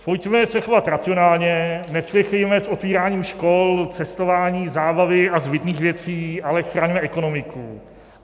Pojďme se chovat racionálně, nespěchejme s otvíráním škol, cestování, zábavy a zbytných věcí, ale chraňme ekonomiku.